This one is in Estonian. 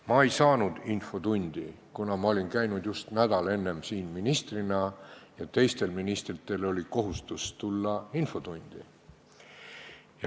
Ma ei saanud infotundi tulla, kuna ma olin käinud just nädal enne siin ministrina ja sel nädalal oli kohustus infotundi tulla teistel ministritel.